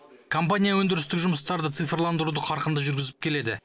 компания өндірістік жұмыстарды цифрландыруды қарқынды жүргізіп келеді